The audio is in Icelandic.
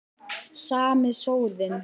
Sami sóðinn.